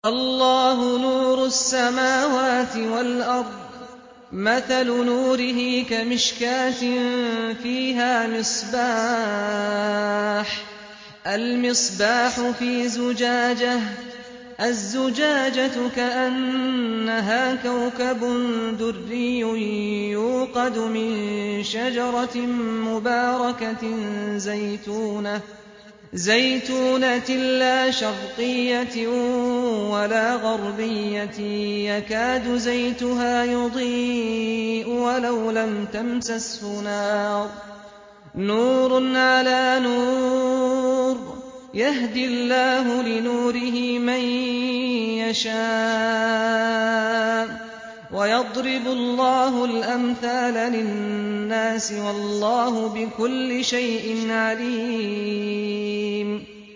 ۞ اللَّهُ نُورُ السَّمَاوَاتِ وَالْأَرْضِ ۚ مَثَلُ نُورِهِ كَمِشْكَاةٍ فِيهَا مِصْبَاحٌ ۖ الْمِصْبَاحُ فِي زُجَاجَةٍ ۖ الزُّجَاجَةُ كَأَنَّهَا كَوْكَبٌ دُرِّيٌّ يُوقَدُ مِن شَجَرَةٍ مُّبَارَكَةٍ زَيْتُونَةٍ لَّا شَرْقِيَّةٍ وَلَا غَرْبِيَّةٍ يَكَادُ زَيْتُهَا يُضِيءُ وَلَوْ لَمْ تَمْسَسْهُ نَارٌ ۚ نُّورٌ عَلَىٰ نُورٍ ۗ يَهْدِي اللَّهُ لِنُورِهِ مَن يَشَاءُ ۚ وَيَضْرِبُ اللَّهُ الْأَمْثَالَ لِلنَّاسِ ۗ وَاللَّهُ بِكُلِّ شَيْءٍ عَلِيمٌ